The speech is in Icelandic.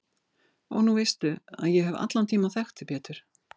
Og nú veistu að ég hef allan tímann þekkt þig Pétur.